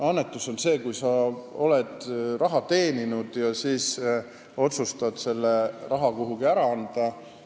Annetus on see, kui sa oled raha teeninud ja otsustad selle siis kuhugi ära anda.